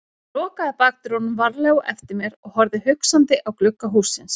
Ég lokaði bakdyrunum varlega á eftir mér og horfði hugsandi á glugga hússins.